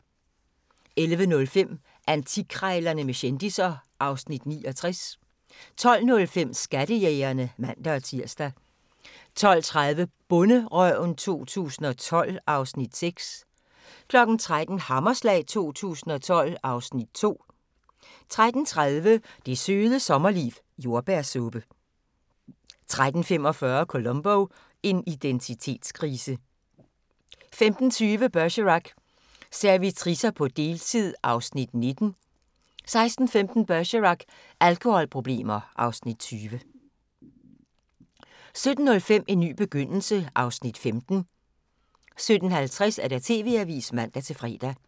11:05: Antikkrejlerne med kendisser (Afs. 69) 12:05: Skattejægerne (man-tir) 12:30: Bonderøven 2012 (Afs. 6) 13:00: Hammerslag 2012 (Afs. 2) 13:30: Det Søde Sommerliv – Jordbærsuppe 13:45: Columbo: En identitetskrise 15:20: Bergerac: Servitricer på deltid (Afs. 19) 16:15: Bergerac: Alkoholproblemer (Afs. 20) 17:05: En ny begyndelse (Afs. 15) 17:50: TV-avisen (man-fre)